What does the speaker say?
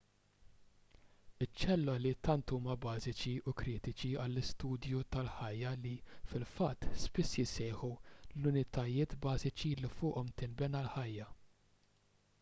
iċ-ċelloli tant huma bażiċi u kritiċi għall-istudju tal-ħajja li fil-fatt spiss jissejħu l-unitajiet bażiċi li fuqhom tinbena l-ħajja